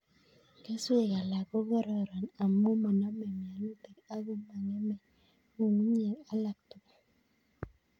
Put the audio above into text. Keswek alak ko kororon amu manamei mianutik ak ko mong'emei ng'ungunyek alak tugul